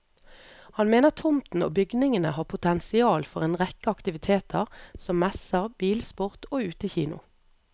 Han mener tomten og bygningene har potensial for en rekke aktiviteter, som messer, bilsport og utekino.